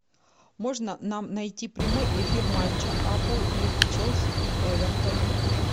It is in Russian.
можно нам найти прямой эфир матча апл между челси и эвертоном